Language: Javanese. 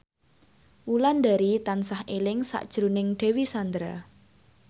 Wulandari tansah eling sakjroning Dewi Sandra